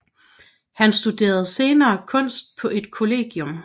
Han studerede senere kunst på et kollegium